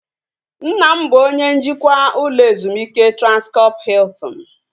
Nna m bụ onye njikwa ụlọ ezumike Transkọp Hiltin